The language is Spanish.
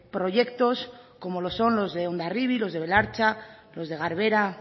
proyectos como lo son los de hondarribia los de belartza los de garbera